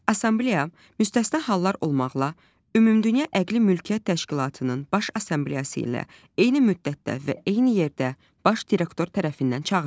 Assambleya müstəsna hallar olmaqla, Ümumdünya Əqli Mülkiyyət Təşkilatının Baş Assambleyası ilə eyni müddətdə və eyni yerdə Baş direktor tərəfindən çağırılır.